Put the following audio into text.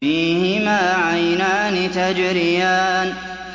فِيهِمَا عَيْنَانِ تَجْرِيَانِ